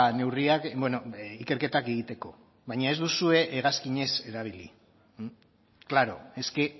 neurriak ikerketak egiteko baina ez duzue hegazkinez erabili claro es que